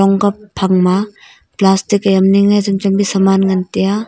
gak phang ma plastic am yingye chem chem saman ngan teya.